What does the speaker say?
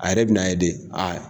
A yɛrɛ bi na ye de, a